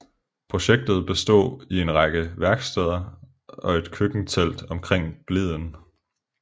Projektet bestod i en række værksteder og et køkkentelt omkring bliden